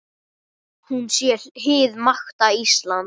Hún sé hið nakta Ísland.